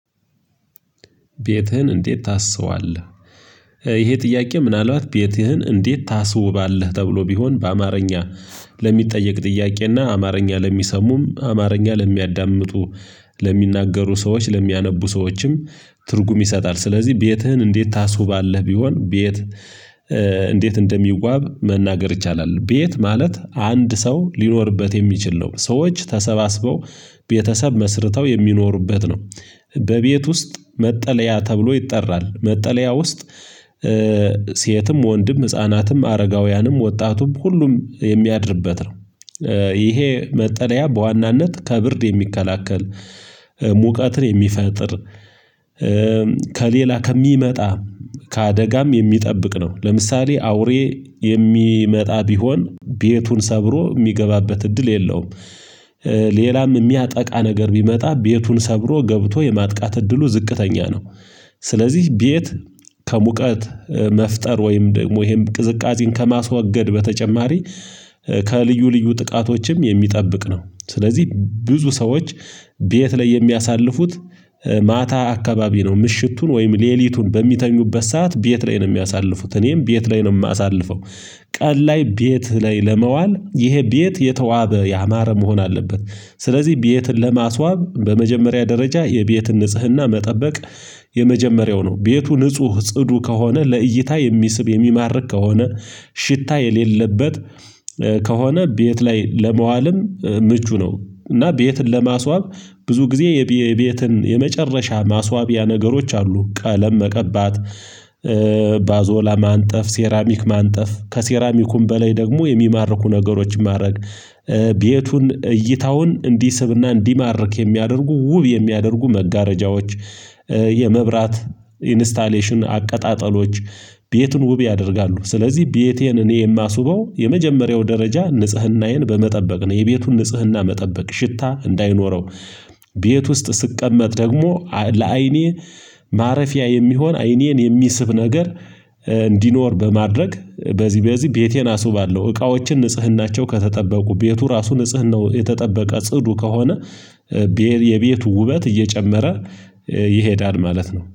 ቤትህን እንዴት ታስዋለህ? ይሄ ጥያቄ ምናልባት ቤትህን እንዴት ታስውባለህ ተብሎ ቢሆን በአማርኛ ለሚጠየቅ ጥያቄና አማርኛ ለሚሰሙም አማርኛ ለሚያዳምጡ። ለሚናገሩ ሰዎች ለሚያነቡ ሰዎችም ትርጉም ይሰጣል። ስለዚህ ቤትህን እንዴት ታስውባለህ ቢሆን ቤት እንዴት እንደሚዋብ መናገር ይቻላል። ቤት ማለት አንድ ሰው ሊኖርበት የሚችል ነው። ሰዎች ተሰባስበው ቤተሰብ መስርተው የሚኖሩበት ነው። በቤት ውስጥ መጠለያ ተብሎ ይጠራል። መጠለያ ውስጥ ሴትም ወንድም ህፃናትም አረጋውያንም ወጣቱም ሁሉም የሚያድርበት ነው። ይሄ መጠለያ በዋናነት ከብርድ የሚከላከል ሙቀትን የሚፈጥር ከሌላ ከሚመጣ ከአደጋም የሚጠብቅ ነው። ለምሳሌ አውሬ የሚመጣ ቢሆን ቤቱን ሰብሮ የሚገባበት እድል የለውም። ሌላም የሚያጠቃ ነገር ቢመጣ ቤቱን ሰብሮ ገብቶ የማጥቃት እድሉ ዝቅተኛ ነው። ስለዚህ ቤት ከሙቀት መፍጠር ወይም ደግሞ ይሄን ቅዝቃዜን ከማስወገድ በተጨማሪ ከልዩ ልዩ ጥቃቶችም የሚጠብቅ ነው። ስለዚህ ብዙ ሰዎች ቤት ላይ የሚያሳልፉት ማታ አካባቢ ነው። ምሽቱን ወይም ሌሊቱን በሚተኙበት ሰዓት ቤት ላይ ነው የሚያሳልፉት እኔም ቤት ላይ ነው የማሳልፈው። ቀን ላይ ቤት ላይ ለመዋል ይሄ ቤት የተዋበ ያማረ መሆን አለበት። ስለዚህ ቤትን ለማስዋብ በመጀመሪያ ደረጃ የቤትን ንጽህና መጠበቅ የመጀመሪያው ነው። ቤቱ ንጹህ ጽዱ ከሆነ ለእይታ የሚስብ የሚማርክ ከሆነ ሽታ የሌለበት ከሆነ ቤት ላይ ለመዋልም ምቹ ነው። እና ቤትን ለማስዋብ ብዙ ጊዜ የቤትን የመጨረሻ ማስዋቢያ ነገሮች አሉ ቀለም መቀባት። ባዞ ማንጠፍ ሴራሚክ ማንጠፍ ከሴራሚኩም በላይ ደግሞ የሚማርኩ ነገሮች ማድረግ። ቤቱን እይታውን እንዲስብና እንዲማርክ የሚያደርጉ ውብ የሚያደርጉ መጋረጃዎች የመብራት ኢንስታሌሽን አቀጣጠሎች ቤቱን ውብ ያደርጋሉ። ስለዚህ ቤቴን እኔ የማስውበው የመጀመሪያው ደረጃ ንጽህናዬን በመጠበቅ ነው። የቤቱን ንጽህና መጠበቅ ሽታ እንዳይኖረው። ቤት ውስጥ ሲቀመጥ ደግሞ ለአይኔ ማረፊያ የሚሆን አይኔን የሚስብ ነገር እንዲኖር በማድረግ በዚህ በዚህ ቤቴን አስባለሁ። እቃዎችን ንጽህናቸው ከተጠበቁ ቤቱ ራሱ ንጽህናው የተጠበቀ ጽዱ ከሆነ። የቤቱ ውበት እየጨመረ ይሄዳል ማለት ነው